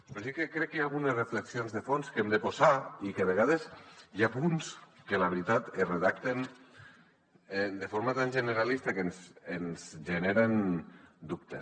però sí que crec que hi ha algunes reflexions de fons que hi hem de posar i que a vegades hi ha punts que la veritat es redacten de forma tan generalista que ens generen dubtes